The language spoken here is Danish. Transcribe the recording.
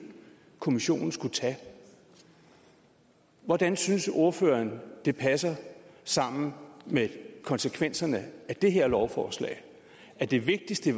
kommissionen skulle tage hvordan synes ordføreren det passer sammen med konsekvenserne af det her lovforslag at det vigtigste